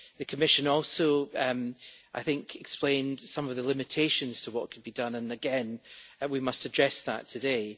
The Commission also explained some of the limitations to what can be done, and again we must address that today.